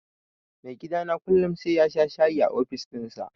Maigidana kullum sai yasha shayi a ofis ɗinsa.